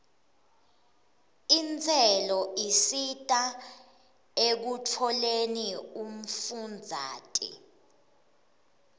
intselo isita ekutfoleni umfundzate